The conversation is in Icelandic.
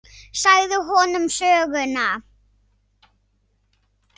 Ég sagði honum alla söguna.